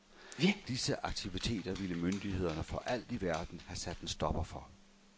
Disse aktiviteter ville myndighederne for alt i verden have sat en stopper for.